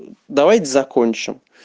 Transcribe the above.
давайте закончим